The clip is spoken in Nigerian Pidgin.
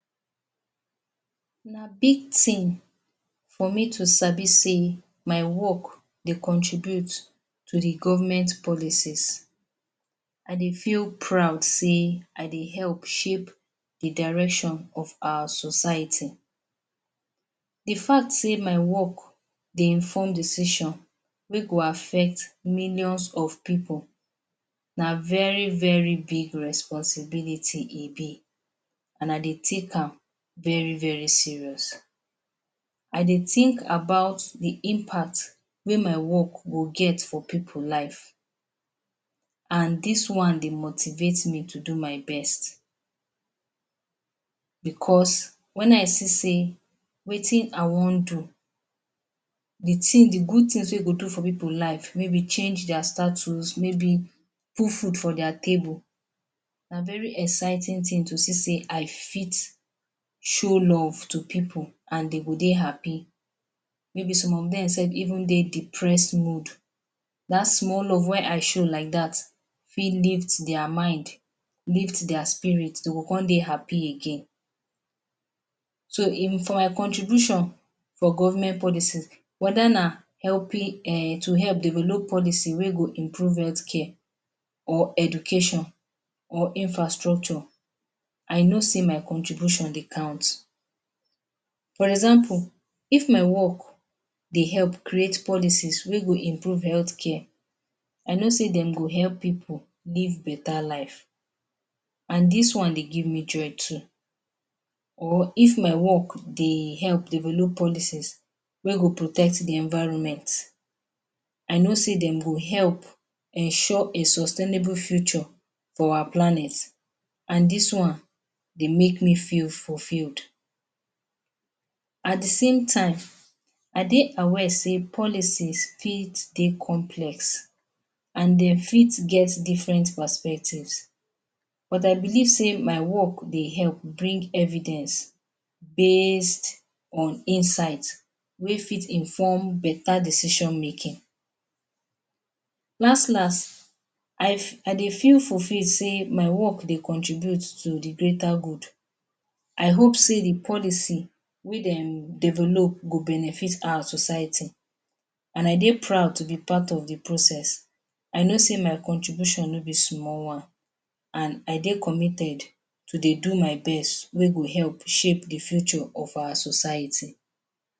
Na big thing for me to sabi say my work dey contribute to the government policies. I dey feel proud say I dey help to shape the direction of our society. The fact say my work dey inform decision wey go affect millions of pipu na very very big responsibility e be. And I dey take am very very serious. I dey think about the impact wey my work go get for pipu life and dis one dey motivate me to do my best because when I see say wetin I wan do, the good things wey e go do for pipu life, maybe change their status, maybe put food for their table, na very exciting thing to see say I fit show love to pipu and dey go dey happy. Maybe some of dem dey depress mode, dat small love wey I show fit lift their mind, lift their spirit, dey con dey happy again. So, for my contribution for government policy, whether na to help develop policy wey go improve health care, or education, or infrastructure, I know say my contribution dey count. For example, if my work dey help create policies wey go improve health care, I know say dem go help pipu live better life and dis one dey give me joy too. Or if my work dey help develop policies wey go protect the environment, I know say dem go help ensure a sustainable future for our planet and dis one dey make me feel fulfilled. At the same time, I dey aware say the polices fit dey complex and dem fit get different perspectives, but I belive say my work dey help bring evidence based on insight wey fit inform better decision making. Las las, I dey feel fulfilled say my work dey contribute to the greater good. I hope say the policy wey dem develop go benefit our society, and I dey proud to be part of the process. I know say my contribution no be small one, and I dey committed to dey do my best wey go help shape the future for our society.